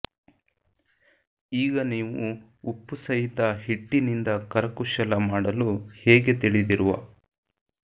ಈಗ ನೀವು ಉಪ್ಪುಸಹಿತ ಹಿಟ್ಟಿನಿಂದ ಕರಕುಶಲ ಮಾಡಲು ಹೇಗೆ ತಿಳಿದಿರುವ